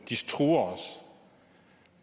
de truer os